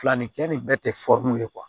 Fila nin kɛ nin bɛɛ tɛ ye